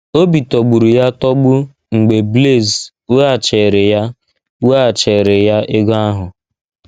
Obi tọgburu ya atọgbu mgbe Blaise weghachiiri ya weghachiiri ya ego ahụ.